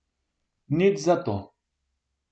Nič zato.